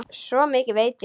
Svo mikið veit ég.